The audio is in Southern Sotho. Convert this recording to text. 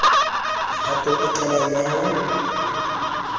mehatong e qalang ya ho